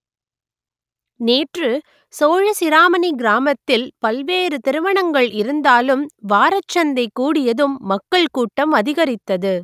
நேற்று சோழசிராமணி கிராமத்தில் பல்வேறு திருமணங்கள் இருந்தாலும் வாரச்சந்தை கூடியதும் மக்கள் கூட்டம் அதிகரித்தது